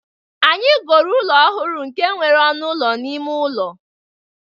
Anyị goro ụlọ ọhụrụ nke nwere ọnụ ụlọ ime ụlọ